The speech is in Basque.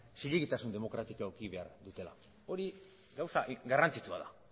zilegitasun demokratikoa eduki behar dutela hori gauza garrantzitsua da